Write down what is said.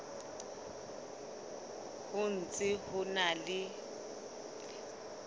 ho ntse ho na le